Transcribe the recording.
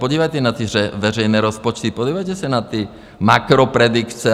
Podívejte se na ty veřejné rozpočty, podívejte se na ty makropredikce.